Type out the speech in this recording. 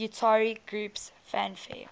utari groups fanfare